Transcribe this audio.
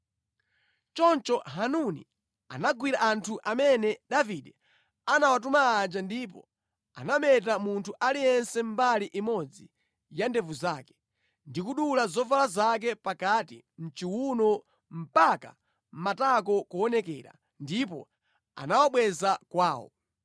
Choncho Hanuni anagwira anthu amene Davide anawatuma aja ndipo anameta munthu aliyense mbali imodzi ya ndevu zake, ndi kudula zovala zake pakati mʼchiwuno mpaka matako kuonekera, ndipo anawabweza kwawo.